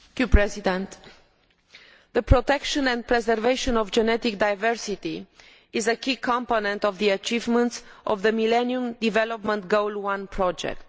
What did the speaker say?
Mr President, the protection and preservation of genetic diversity is a key component of the achievements of the Millennium Development Goal 1 project.